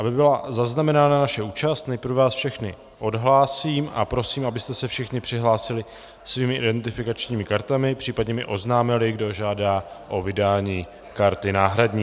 Aby byla zaznamenána naše účast, nejprve vás všechny odhlásím a prosím, abyste se všichni přihlásili svými identifikačními kartami, případně mi oznámili, kdo žádá o vydání karty náhradní.